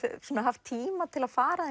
haft tíma til að fara